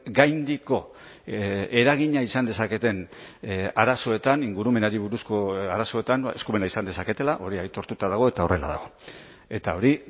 gaindiko eragina izan dezaketen arazoetan ingurumenari buruzko arazoetan eskumena izan dezaketela hori aitortuta dago eta horrela dago eta hori